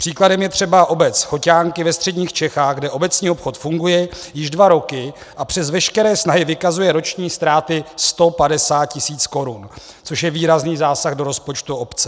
Příkladem je třeba obec Choťánky ve středních Čechách, kde obecní obchod funguje již dva roky a přes veškeré snahy vykazuje roční ztráty 150 tisíc korun, což je výrazný zásah do rozpočtu obce.